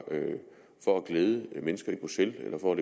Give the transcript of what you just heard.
for at glæde mennesker i bruxelles eller for at